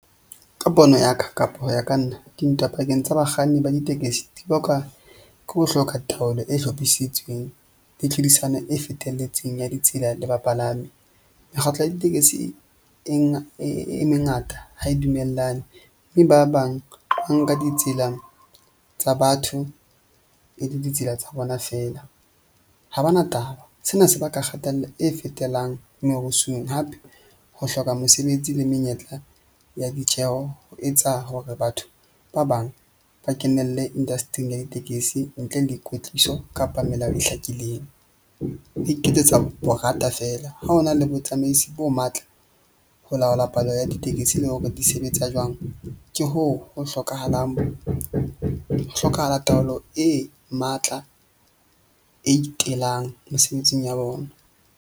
Ka pono ya ka, kapa ho ya ka nna dintwa pakeng tsa bakganni ba ditekesi di bakwa ke ho hloka taolo e hlophisitsweng, le tlhodisano e fetelletseng ya ditsela le bapalami. Mekgatlo ya ditekesi e e mengata ha e dumellane mme ba bang ba nka ditsela tsa batho e le ditsela tsa bona feela ha ba na taba. Sena se baka kgatello e fetelang merusung hape ho hloka mosebetsi le menyetla ya ditjeho ho etsa hore batho ba bang ba kenelle industry-ing ya ditekesi ntle le kwetliso kapa melao e hlakileng. Di iketsetsa borata feela. Ha ho na le botsamaisi bo matla ho laola palo ya ditekesi, le hore di sebetsa jwang, ke hoo ho hlokahalang, ho hlokahala taolo e matla e itelang mesebetsing ya bona.